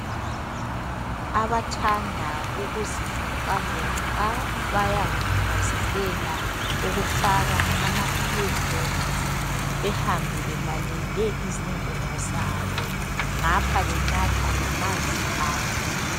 Abathanda ukuzivoxavoxa bayakuthakazelela ukufaka amaearphones behambe belalele izingoma zabo ngapho benatha lamanzi abo.